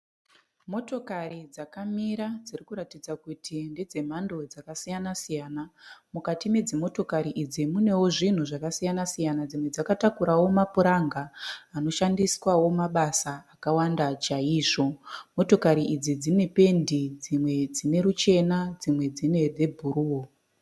Motokari dzakamira dzirikuratidza kutindesze mhando dzakasiyana siyana. mukati medzimotokari idzi munewo zvinhu zvakasiyana siyana dzimwe dzakatakurawo mapuranga anoshandiswawo mabasa akawanda chaizvo, motokari idzi dzine pendi dzimwe dzineruchena dzimwe dzine rwebhuruu.